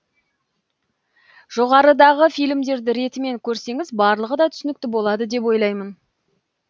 жоғарыдағы фильмдерді ретімен көрсеңіз барлығы да түсінікті болады деп ойлаймын